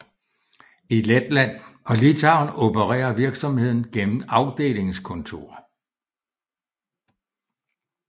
I Letland og Litauen opererer virksomheden gennem afdelingskontorer